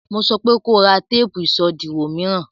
Mo sọpé ko ra téèpù ìṣòdiwọ̀ mìíràn!